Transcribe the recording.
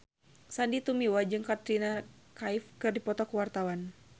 Sandy Tumiwa jeung Katrina Kaif keur dipoto ku wartawan